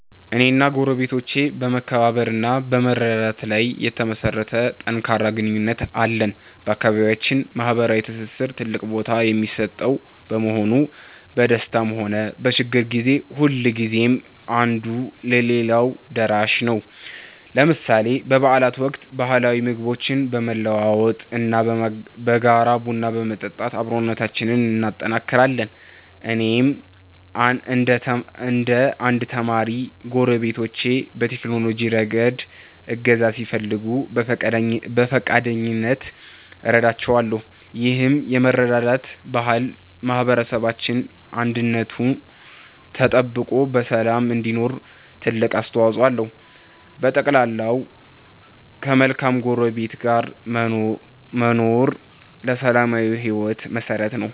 እኔና ጎረቤቶቼ በመከባበር እና በመረዳዳት ላይ የተመሠረተ ጠንካራ ግንኙነት አለን። በአካባቢያችን ማኅበራዊ ትስስር ትልቅ ቦታ የሚሰጠው በመሆኑ፣ በደስታም ሆነ በችግር ጊዜ ሁልጊዜም አንዱ ለሌላው ደራሽ ነው። ለምሳሌ በበዓላት ወቅት ባህላዊ ምግቦችን በመለዋወጥ እና በጋራ ቡና በመጠጣት አብሮነታችንን እናጠናክራለን። እኔም እንደ አንድ ተማሪ፣ ጎረቤቶቼ በቴክኖሎጂ ረገድ እገዛ ሲፈልጉ በፈቃደኝነት እረዳቸዋለሁ። ይህ የመረዳዳት ባህል ማኅበረሰባችን አንድነቱ ተጠብቆ በሰላም እንዲኖር ትልቅ አስተዋፅኦ አለው። በጠቅላላው፣ ከመልካም ጎረቤት ጋር መኖር ለሰላማዊ ሕይወት መሠረት ነው።